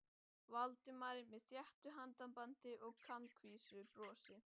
Valdimari með þéttu handabandi og kankvísu brosi.